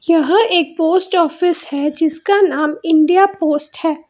यहां एक post office है जिसका नाम इंडिया पोस्ट है।